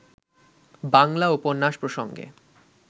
বাংলা উপন্যাস প্রসঙ্গে